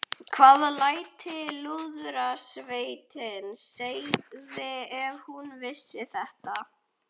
Hvað ætli Lúðrasveitin segði ef hún vissi þetta?